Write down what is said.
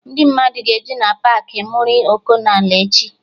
Ndị mmadụ ga-eju na Paakị Muri Ọkụnola echi